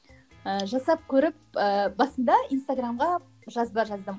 ыыы жасап көріп ыыы басында инстаграмға жазба жаздым